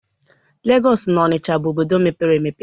Legọs na Ọnisha bụ obodo mepere emepe.